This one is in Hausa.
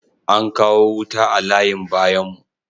Ankawo wuta a layin bayan mu